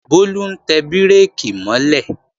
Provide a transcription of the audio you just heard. Bólú ń tẹ bírèkì mọ́ lẹ̀